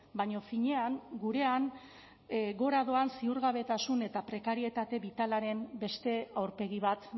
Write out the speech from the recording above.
baina finean gurean gora doan ziurgabetasun eta prekarietate bitalaren beste aurpegi bat